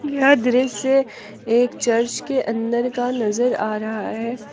यह दृश्य एक चर्च के अंदर का नजर आ रहा है।